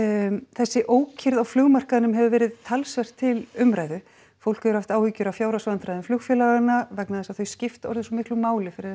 þessi ókyrrð á flugmarkaðnum hefur verið talsvert til umræðu fólk hefur haft áhyggjur af fjárhagsvandræðum flugfélaganna vegna þess að þau skipta orðið svo miklu máli fyrir